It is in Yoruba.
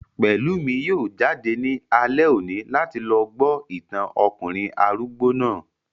Pẹ̀lúmi yóò jáde ní alẹ́ òní láti lọ gbọ́ ìtàn ọkùnrin arúgbó náà